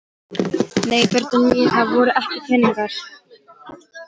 Nei börnin mín, það voru ekki peningar.